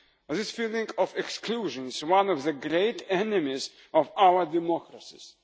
This feeling of exclusion is one of the great enemies of our democracies.